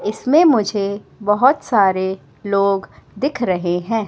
इसमें मुझे बहोत सारे लोग दिख रहे हैं।